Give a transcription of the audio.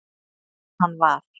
Sem hann var.